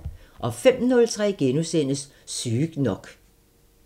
05:03: Sygt nok *